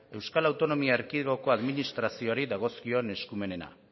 euskal autonomia erkidegoko administrazioari dagozkion eskumenena